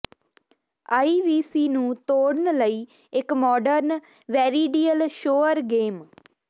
IVC ਨੂੰ ਤੋੜਨ ਲਈ ਇੱਕ ਮਾਡਰਨ ਵੈ੍ਰੀਡੀਅਲ ਸ਼ੋਅਰ ਗੇਮ